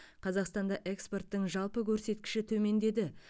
қазақстанда экспорттың жалпы көрсеткіші төмендеді